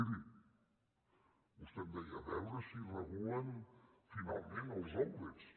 miri vostè em deia a veure si regulen finalment els outlets